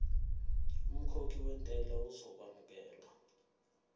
umkhokhi wentela uzokwamukelwa